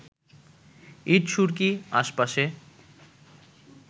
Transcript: ইট সুরকি আশপাশে